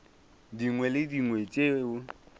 dingwe le tše dingwe tšeo